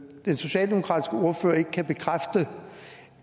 den socialdemokratiske ordfører ikke kan bekræfte